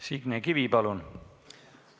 Signe Kivi, palun!